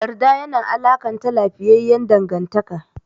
Yarda yana alakanta lafiyayyan dangantaka.